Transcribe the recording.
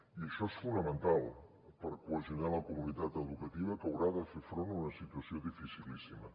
i això és fonamental per cohesionar la comunitat educativa que haurà de fer front a una situació dificilíssima